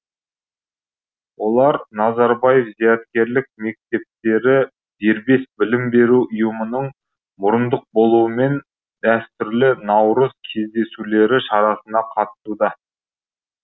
олар назарбаев зияткерлік мектептері дербес білім беру ұйымының мұрындық болуымен дәстүрлі наурыз кездесулері шарасына қатысуда